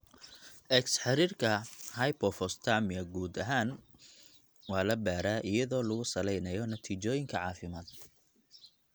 X-xiriirka hypophosphatemia guud ahaan waa la baaraa iyadoo lagu salaynayo natiijooyinka caafimaad.